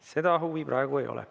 Seda huvi praegu ei ole.